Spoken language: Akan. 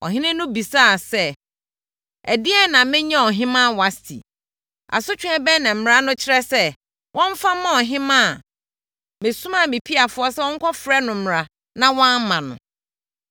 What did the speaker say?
Ɔhene no bisaa sɛ, “Ɛdeɛn na menyɛ ɔhemmaa Wasti? Asotweɛ bɛn na mmara no kyerɛ sɛ, wɔmfa mma ɔhemmaa a mesomaa me piafoɔ sɛ wɔnkɔfrɛ no mmra na wamma no?”